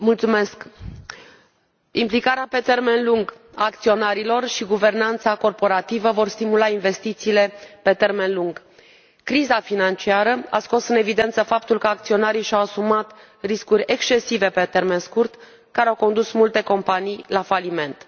Domnule președinte, implicarea pe termen lung a acționarilor și guvernanța corporativă vor stimula investițiile pe termen lung. Criza financiară a scos în evidență faptul că acționarii și au asumat riscuri excesive pe termen scurt, care au condus multe companii la faliment.